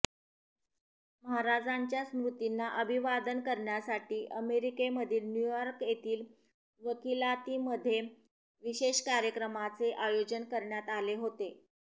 महाराजांच्या स्मृतींना अभिवादन करण्यासाठी अमेरिकेमधील न्यूयॉर्क येथील वकिलातीमध्ये विशेष कार्यक्रमाचे आयोजन करण्यात आले होते